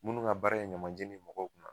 Minnu ka baara ye ɲamajeni ye mɔgɔw kunna